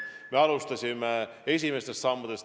Me alustasime esimestest sammudest.